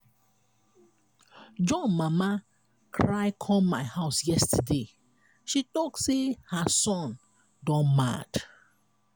john mama cry come my house yesterday. she talk say her son don mad.